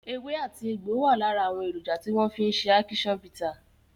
Ewé àti egbò wà lára àwọn èròjà tí wọ́n fi ṣe ákíṣán bità.